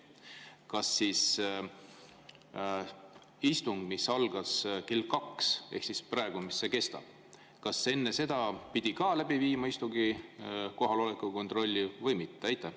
Kas istung, mis algas kell kaks, ehk see, mis praegu kestab, kas enne seda pidi ka kohaloleku kontrolli läbi viima või mitte?